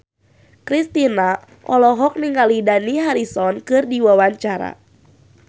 Kristina olohok ningali Dani Harrison keur diwawancara